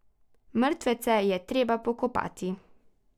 Mrtvece je treba pokopati.